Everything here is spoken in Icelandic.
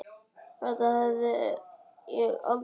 Þetta hefði ég aldrei sagt.